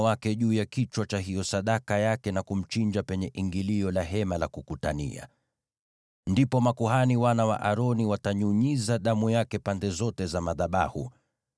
Ataweka mkono wake juu ya kichwa cha sadaka yake na kumchinja penye ingilio la Hema la Kukutania. Ndipo makuhani wana wa Aroni watanyunyiza damu yake pande zote za madhabahu.